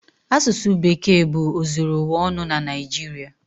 Asụsụ Bekee bụ ozuru ụwa ọnụ na Naịjirịa.